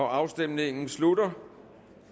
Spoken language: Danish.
afstemningen slutter